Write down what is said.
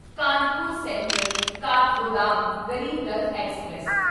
Kanpur central Kathgodam Garib Rath express